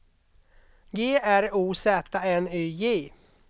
G R O Z N Y J